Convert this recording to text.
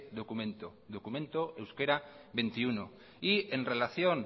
documento documento euskera veintiuno y en relación